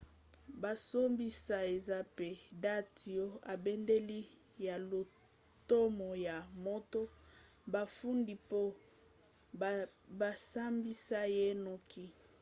bosambisi eza mpe date ya ebandeli ya lotomo ya moto bafundi mpo basambisa ye noki